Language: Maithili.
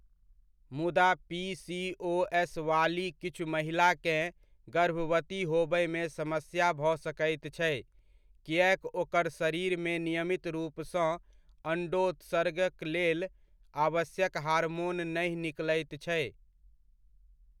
मुदा पीसीओएस वाली किछु महिलाकेँ गर्भवती होबयमे समस्या भऽ सकैत छै, किएक ओकर शरीरमे नियमित रूपसँ अण्डोत्सर्गकलेल आवश्यक हार्मोन नहि निकलैत छै।